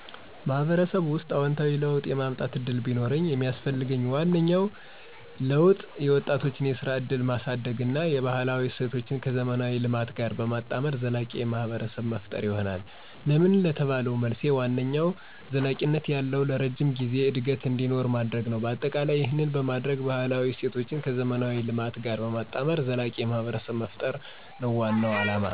ማህበረሰቡ ውስጥ አዎንታዊ ለውጥ የማምጠት እድል ቢኖርኝ የሚስፈልገኝ ዋነኛው ለውጥ የወጣቶችን የስራ እድልን ማሳድግ እና የባህላዊ እሴቶችን ከዘመናዊ ልማት ጋር በማጣመር ዘላቂ ማህብረሰብ መፈጠር ይሆናል። ለምን ለተባለው መልሴ ዋነኛው ዘለቂነት ያለው(ለረጅም ጊዜ) እድገት እንዲኖር ለማድርግ ነው። በአጠቃላይ ይህን በማደርግ ባህላዊ እሴቶችን ከዘመናዊ ልማት ጋር በማጣመር ዘላቂ ማህብረሰብ መፍጠር ነው ዋናው አለማ።